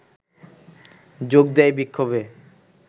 যোগ দেয় বিক্ষোভে